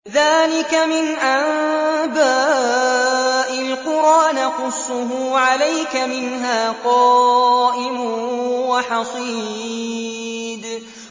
ذَٰلِكَ مِنْ أَنبَاءِ الْقُرَىٰ نَقُصُّهُ عَلَيْكَ ۖ مِنْهَا قَائِمٌ وَحَصِيدٌ